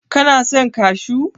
Kana son kashu?